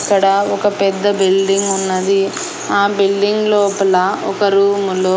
అక్కడ ఒక పెద్ద బిల్డింగ్ ఉన్నది ఆ బిల్డింగ్ లోపల ఒక రూములో --